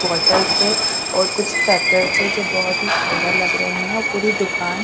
bottle से और कुछ पैकेट्स से जो बहुत ही सुंदर लग रहे हैं और पूरी दुकान--